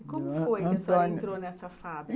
E como foi que a senhora entrou nessa fábrica?